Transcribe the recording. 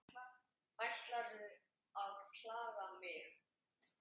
Ætlarðu að klaga mig?